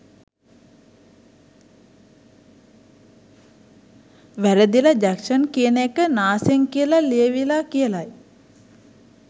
වැරදිල Jackson කියන එක නාසෙන් කියල ලියවිල කියලයි